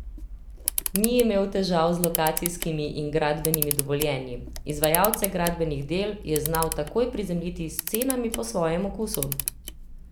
Ni imel težav z lokacijskimi in gradbenimi dovoljenji, izvajalce gradbenih del je znal takoj prizemljiti s cenami po svojem okusu.